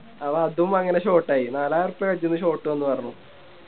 അപ്പൊ അതും അങ്ങനെ Short ആയി നാലായിരൊർപ്പായ അതിന്ന് Short വന്നു പറഞ്ഞു